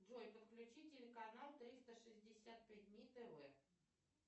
джой подключи телеканал триста шестьдесят пять дней тв